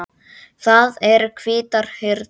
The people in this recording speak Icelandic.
Það eru hvítar hurðir.